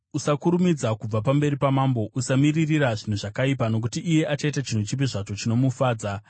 Usakurumidza kubva pamberi pamambo. Usamiririra zvinhu zvakaipa, nokuti iye achaita chinhu chipi zvacho chinomufadza.